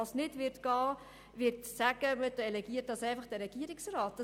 Aber man kann nicht einfach sagen, man delegiere es an den Regierungsrat.